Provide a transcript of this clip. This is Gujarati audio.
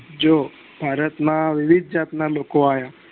જો ભારત માં વિવિધ જાત ના લોકો આવ્યા